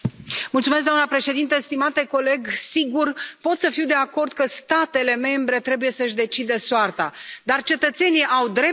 Doamna președintă, stimate coleg, sigur, pot să fiu de acord că statele membre trebuie să și decidă soarta, dar cetățenii au drepturi.